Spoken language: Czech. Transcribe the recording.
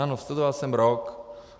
Ano, studoval jsem rok.